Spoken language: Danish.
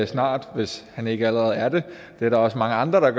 snart hvis han ikke allerede er det det er der også mange andre der